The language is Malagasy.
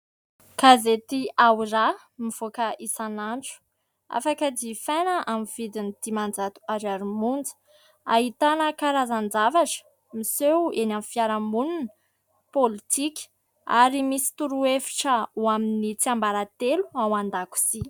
Gazety Ao Raha mivoaka isan'andro. Afaka jifaina amin'ny vidiny dimanjato ariary monja. Hahitana karazan-javatra miseho eny amin'ny fiaramonina, politika ary misy toro hevitra ho amin'ny tsiambaratelo ao an-dakozia.